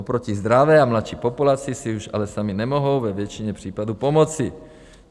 Oproti zdravé a mladší populaci si už ale sami nemohou ve většině případů pomoci.